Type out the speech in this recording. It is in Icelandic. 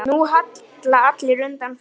Nú hallar undan fæti.